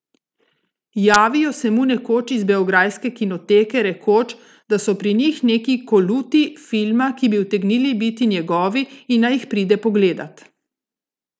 Javijo se mu nekoč iz beograjske kinoteke, rekoč, da so pri njih neki koluti filma, ki bi utegnili biti njegovi in naj jih pride pogledat.